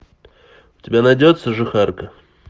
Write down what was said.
у тебя найдется жихарка